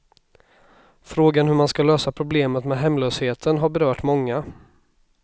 Frågan hur man ska lösa problemet med hemlösheten har berört många.